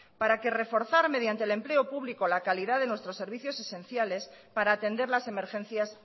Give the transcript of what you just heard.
para que reforzar mediante el empleo público la calidad de nuestros servicios esenciales para atender las emergencias